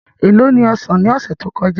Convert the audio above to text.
É lo ni osan ní ọ̀sẹ̀ tí ó kọjá?